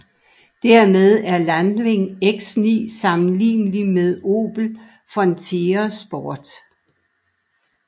Dermed er Landwind X9 sammenlignelig med Opel Frontera Sport